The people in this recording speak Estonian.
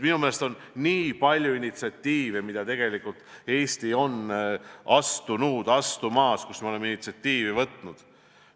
Minu meelest on Eesti nii palju initsiatiivi üles näidanud.